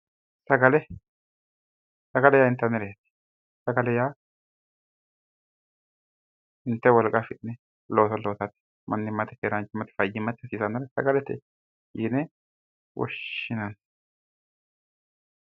Sagale sagale yaa inttanireeti inte wolqa affine looso loosate fayyimma afirate yine inteemore sagale yine woshshineemo